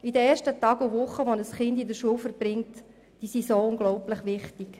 Die ersten Tage und Wochen, die ein Kind in der Schule verbringt, sind unglaublich wichtig.